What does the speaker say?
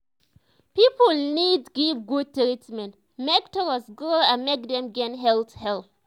people need give good treatment make trust grow and make dem gain health help.